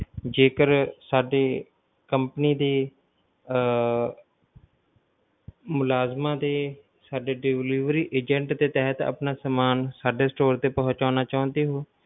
ਜੇਕਰ ਸਾਡੀ company ਦੇ ਆਹ ਮੁਲਾਜਮਾਂ ਦੇ ਸਾਡੇ delivery agent ਦੇ ਤਹਿਤ ਆਪਣਾ ਸਮਾਨ ਸਾਡੇ store ਤੇ ਪਹੁਚਾਉਣਾ ਚਾਉਂਦੇ ਹੋ,